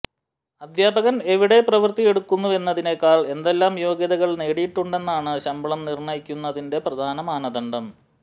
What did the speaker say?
അധ്യാപകൻ എവിടെ പ്രവൃത്തിയെടുക്കുന്നുവെന്നതിനെക്കാൾ എന്തെല്ലാം യോഗ്യതകൾ നേടിയിട്ടുണ്ടെന്നുള്ളതാണ് ശമ്പളം നിർണയിക്കുന്നതിന്റെ പ്രധാന മാനദണ്ഡം